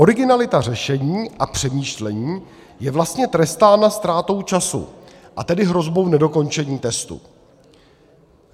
Originalita řešení a přemýšlení je vlastně trestána ztrátou času, a tedy hrozbou nedokončení testu.